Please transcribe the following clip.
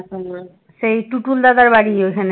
সেই টুটুল দাদার বাড়ি ওখানে